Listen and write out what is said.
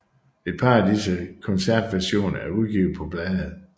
Et par af disse koncertversioner er udgivet på plade